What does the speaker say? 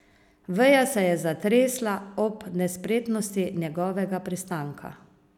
Veja se je zatresla ob nespretnosti njegovega pristanka.